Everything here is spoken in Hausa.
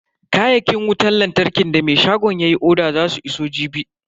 Kayakin wutan lantarkin da me shagon yayi oda zasu iso jibi.